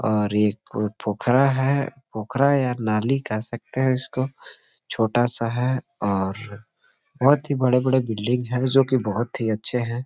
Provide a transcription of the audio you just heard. और ये कोई पोखरा है पोखरा या नाली कह सकते हैं इसको छोटा सा है और बहुत ही बड़े-बड़े बिल्डिंग है जो कि बहुत ही अच्छे हैं।